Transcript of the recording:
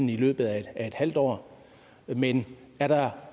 løbet af et halvt år men er der